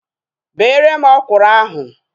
Bere m ọkwụrụ ahu!